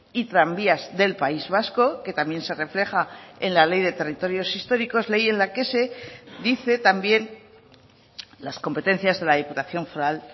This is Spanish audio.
y tranvías del país vasco que también se refleja en la ley de territorios históricos ley en la que se dice también las competencias de la diputación foral